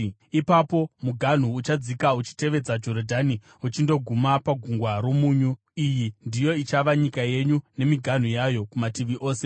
Ipapo muganhu uchadzika uchitevedza Jorodhani uchindoguma paGungwa roMunyu. “ ‘Iyi ndiyo ichava nyika yenyu, nemiganhu yayo kumativi ose.’ ”